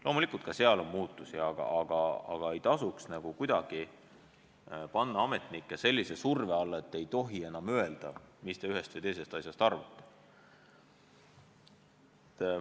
Loomulikult on ka ametnikkonnas muutusi, aga ei maksaks kuidagi panna ametnikke sellise surve alla, et nad ei tohi enam öelda, mis nad ühest või teisest asjast arvavad.